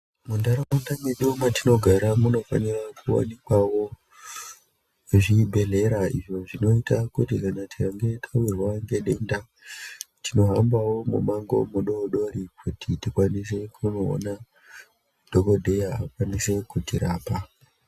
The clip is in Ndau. Munharaunda medu matinogara munofanira kuwanikwawo zvibhehlera izvo zvinoita kuti kana tikange tawirwa ngedenda tinohambawo mumango mudodori kuti tikwanise kunoona dhokodhea kuti akwanise kutirapa .